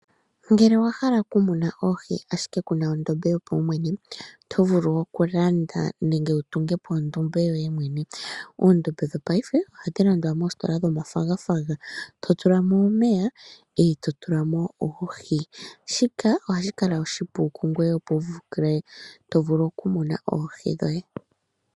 Ngele owahala okumuna ashike kuna ondombe yoye mwene oto vulu okulanda nenge wu tunge po ondombe yoye mwene .Oondombe dhopaife ohadhi landwa moositola dhomafagafaga to tula mo omeya eto tula mo oohi shikanohashi kala oshipu kungoye opo wu mune oohi dhoye.